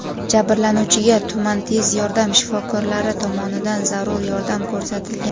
Jabrlanuvchiga tuman tez yordam shifokorlari tomonidan zarur yordam ko‘rsatilgan.